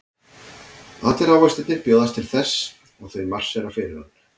Allir ávextirnir bjóðast til þess og þau marsera fyrir hann.